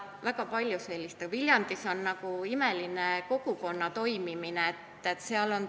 Viljandis on meil imeline kogukonna toimimine.